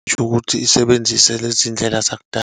Kushukuthi isebenzise lezi ndlela zakudala.